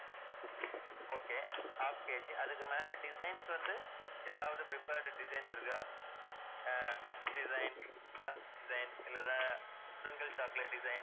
okay, half KG அதுக்கு மேல designs வந்து ஏதாவது preferred designs இருக்கா அஹ் nuts designs, designs இல்லன்னா sprinkled chocolate designs